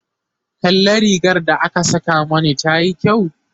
kalla rigar da aka Saka Mani tayi kyau?